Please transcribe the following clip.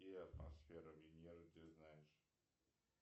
какие атмосферы венеры ты знаешь